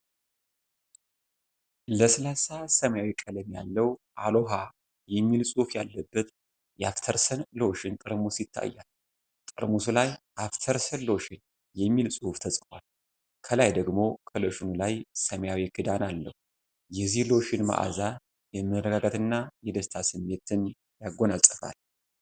ለስላሳ ሰማያዊ ቀለም ያለው፤ “አሎሃ” የሚል ጽሑፍ ያለበት የአፍተርሰን ሎሽን ጠርሙስ ይታያል። ጠርሙሱ ላይ "አፍተርሰን ሎሽን" የሚል ጽሑፍ ተጽፏል። ከላይ ደግሞ ከሎሽኑ ላይ ሰማያዊ ክዳን አለው። የዚህ ሎሽን ማዕዛ የመረጋጋትና የደስታ ስሜትን ያጎናፅፋል ።